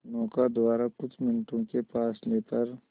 नौका द्वारा कुछ मिनटों के फासले पर